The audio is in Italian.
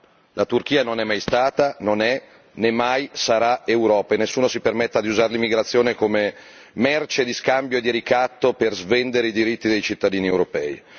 No la Turchia non è mai stata, non è, né mai sarà Europa, e nessuno si permetta di usare l'immigrazione come merce di scambio e di ricatto per svendere i diritti dei cittadini europei.